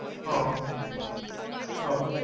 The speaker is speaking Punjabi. ਹਾਂ ਹਮ